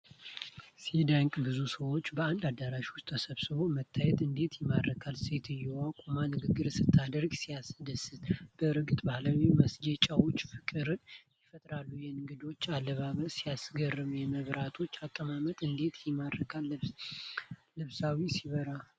ሲያስደንቅ! ብዙ ሰዎች በአንድ አዳራሽ ውስጥ ተሰበሰቡ መታየቱ እንዴት ይማርካል! ሴትዮዋ ቆማ ንግግር ስታደርግ ሲያስደስት! በእርግጥ ባህላዊ ማስጌጫዎች ፍቅርን ይፈጥራሉ! የእንግዶቹ አለባበስ ሲያስገርም! የመብራቶቹ አቀማመጥ እንዴት ያምራል! ስብሰባው ሲያበራ! ሲያጓጓ!